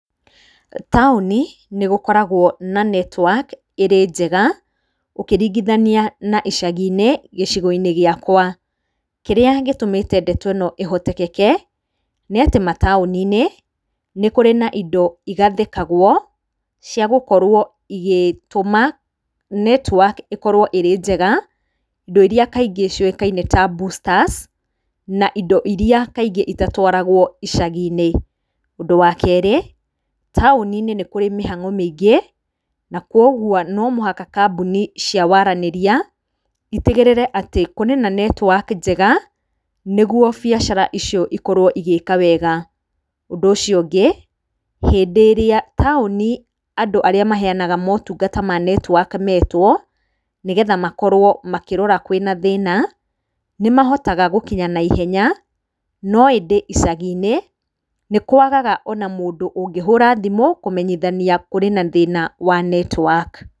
Taũni, nĩ gũkoragwo na netiwaki ĩrĩ njega ũkĩringithania na icagi gĩcigo-inĩ gĩakwa. Kĩrĩa gĩtũmĩte ndeto ĩno ĩhoteteke, nĩ atĩ mataũni-inĩ nĩ kũrĩ na indo igathĩkagwo cia gũkorwo igĩtuma netiwaki ĩkorwo ĩrĩ njega, indo iria kaingĩ ciũĩkaine ta boosters na indo iria kaingĩ itatwaragwo icagi-inĩ. Ũndũ wa kerĩ, taũni-inĩ nĩ kũrĩ mĩhang'o mĩingĩ na kũguo no mũhaka kambuni cia waranĩria itigĩrĩre atĩ kũrĩ na netiwaki njega, nĩ guo biacara icio ikorwo igĩka wega. Ũndũ ũcio ũngĩ, hĩndĩ ĩrĩa taũni andũ arĩa maheanaga motungata ma netiwaki metwo, nĩ getha makorwo makĩrora kwĩna thĩna, nĩ mahotaga gũkinya na ihenya no ĩndĩ icagi-inĩ nĩ kũagaga ona mũndũ ũngĩhũra thimu, kũmenyithania kũrĩ na thĩna wa netiwaki.